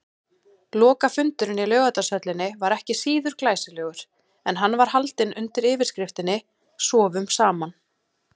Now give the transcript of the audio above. Lokafundurinn í Laugardalshöllinni var ekki síður glæsilegur, en hann var haldinn undir yfirskriftinni: Sofum saman.